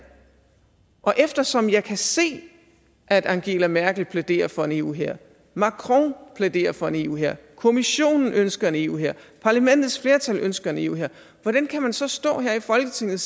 og eftersom jeg kan se at angela merkel plæderer for en eu hær macron plæderer for en eu hær kommissionen ønsker en eu hær parlamentets flertal ønsker en eu hær hvordan kan man så stå her i folketinget